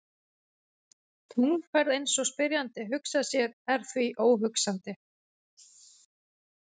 Tunglferð eins og spyrjandi hugsar sér er því óhugsandi.